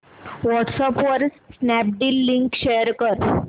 WhatsApp वर Snapdeal link share कर